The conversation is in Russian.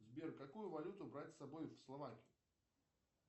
сбер какую валюту брать с собой в словакию